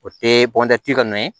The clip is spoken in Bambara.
O tɛ ka nɔ ye